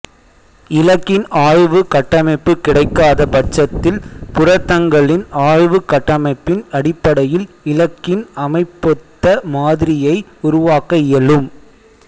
இலக்கின் ஆய்வு கட்டமைப்பு கிடைக்காத பட்சத்தில் புரதங்களின் ஆய்வுக் கட்டமைப்பின் அடிப்படையில் இலக்கின் அமைப்பொத்த மாதிரியை உருவாக்க இயலும்